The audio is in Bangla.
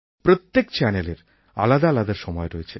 প্রত্যেক চ্যানেলের আলাদা আলাদা সময় রয়েছে